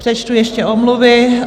Přečtu ještě omluvy.